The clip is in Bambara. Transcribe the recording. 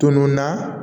Tununna